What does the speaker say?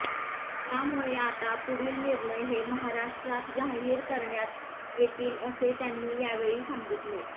त्यामुळे आता पुढील निर्णय हे महाराष्ट्रात जाहीर करण्यात येतील असे त्यांनी यावेळी सांगितले